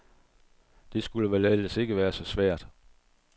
Det skulle vel ellers ikke være så svært.